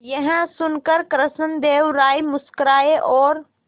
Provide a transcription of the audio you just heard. यह सुनकर कृष्णदेव राय मुस्कुराए और